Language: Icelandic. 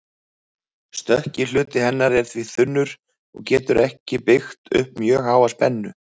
Stökki hluti hennar er því þunnur og getur ekki byggt upp mjög háa spennu.